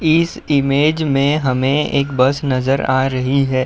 इस इमेज मे हमे एक बस नज़र आ रही है।